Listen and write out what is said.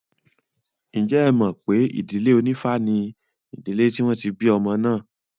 Ǹjẹ́ ẹ mọ̀ pé ìdílé onífá ni ìdílé tí wọ́n ti bí ọmọ náà?